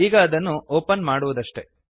ಈಗ ಅದನ್ನು ಓಪನ್ ಮಾಡುವುದಷ್ಟೆ